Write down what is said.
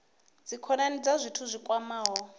dzikhonani kha zwithu zwi kwamaho